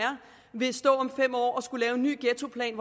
vil stå og skulle lave en ny ghettoplan